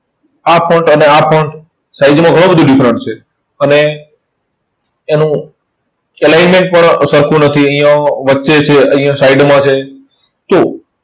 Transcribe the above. આ અને આ . Size માં ઘણો બધો difference છે. અને એનું alignment પણ સરખું નથી. અહીંયા વચ્ચે છે અહીંયા side માં છે. તો